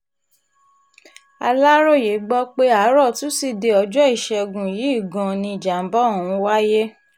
aláròye gbọ́ pé àárò tusidee ọjọ́ ìṣègùn yìí gan-an ni ìjàǹbá ọ̀hún wáyé